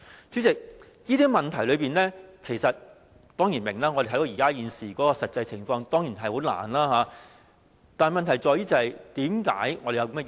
主席，這些問題，我們當然明白，因為我們看到現時的實際情況，明白當中的困難。